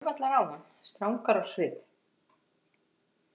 Þær horfa allar á hann strangar á svip.